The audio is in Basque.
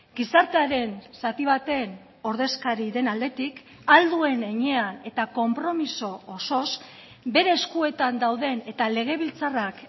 gizartearen zati baten ordezkari den aldetik ahal duen heinean eta konpromiso osoz bere eskuetan dauden eta legebiltzarrak